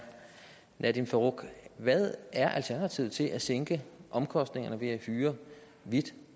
nadeem farooq hvad er alternativet til at sænke omkostningerne ved at hyre hvid